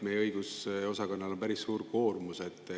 Meie õigusosakonnal on päris suur koormus.